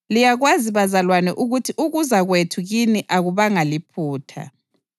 Liyakwazi bazalwane ukuthi ukuza kwethu kini akubanga liphutha.